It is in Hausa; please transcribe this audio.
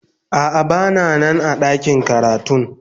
A'a, ban Nan a dakin karatun ba.